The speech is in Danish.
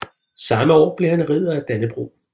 Samme år blev han Ridder af Dannebrog